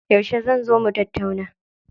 Yauce zan zo mu tattauna?